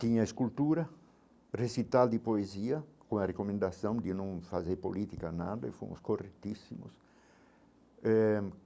Tinha escultura recital de poesia com a recomendação de não fazer política nada e fomos corretíssimos eh.